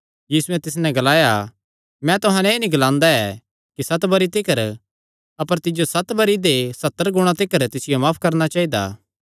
यीशुयैं तिस नैं ग्लाया मैं तुहां नैं एह़ नीं ग्लांदा ऐ कि सत बरी तिकर अपर तिज्जो सत बरी दे सत्तर गुणा तिकर तिसियो माफ करणा चाइदा